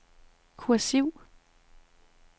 kursiv